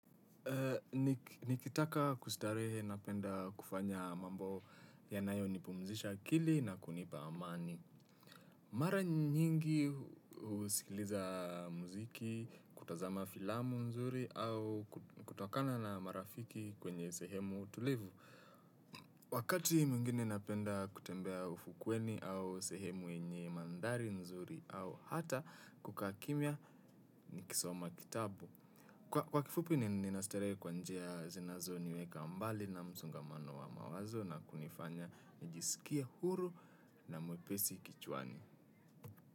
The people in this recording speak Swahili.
Nikitaka kustarehe napenda kufanya mambo yanayo nipumzisha akili na kunipa amani. Mara nyingi usikiliza muziki, kutazama filamu nzuri au kutokana na marafiki kwenye sehemu tulivu. Wakati muingine napenda kutembea ufukweni au sehemu enye mandari nzuri au hata kuka kimia nikisoma kitabu. Kwa kifupi ninasterewe kwa njia zinazo niweka mbali na msongamano wa mawazo na kunifanya nijisikia huru na mwepesi kichwani.